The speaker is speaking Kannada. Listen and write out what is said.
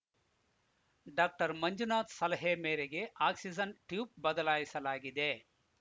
ಡಾಕ್ಟರ್ ಮಂಜುನಾಥ್‌ ಸಲಹೆ ಮೇರೆಗೆ ಆಕ್ಸಿಜನ್‌ ಟ್ಯೂಬ್‌ ಬದಲಾಯಿಸಲಾಗಿದೆ